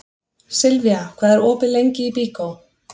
Silvía, hvað er opið lengi í Byko?